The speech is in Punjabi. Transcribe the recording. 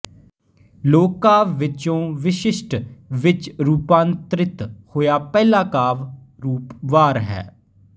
ਲੋਕ ਕਾਵਿ ਵਿਚੋਂ ਵਿਸ਼ਸ਼ਿਟ ਵਿੱਚ ਰੂਪਾਂਤਰਿਤ ਹੋਇਆ ਪਹਿਲਾ ਕਾਵਿ ਰੂਪ ਵਾਰ ਹੈ